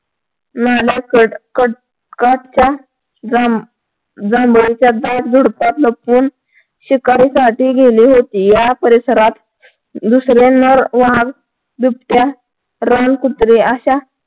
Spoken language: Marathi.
जांभळीच्या झुडपात लपवून शिकारी साठी गेलेली होती या परिसरात दुसऱ्यांवर वाघ बिबट्या रानकुत्रे अशा